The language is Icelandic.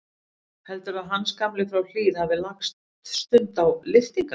Heldurðu að Hans gamli frá Hlíð hafi lagt stund á lyftingar?